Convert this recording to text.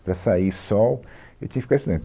Para sair sol, eu tinha que ficar estudando.